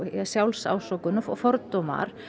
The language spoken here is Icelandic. sjálfsásökun og fordómar